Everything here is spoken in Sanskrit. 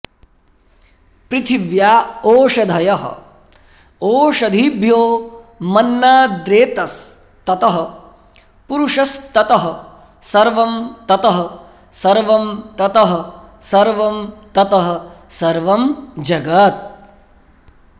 पृथिव्या ओषधयः ओषधीभ्योमन्नाद्रेतस्ततः पुरुषस्ततः सर्वं ततः सर्वं ततः सर्वं ततः सर्वं जगत्